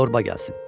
Şorba gəlsin.